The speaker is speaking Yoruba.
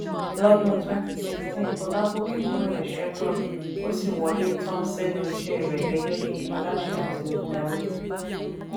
lọ́dún twenty sixteen olágòkè kúrò ni chevron ó sì wọlé tán sẹ́nu isẹ́ rẹ̀ gẹ́gẹ́ bi aláṣẹ àti olùdarí.